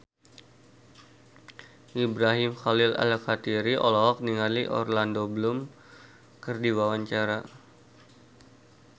Ibrahim Khalil Alkatiri olohok ningali Orlando Bloom keur diwawancara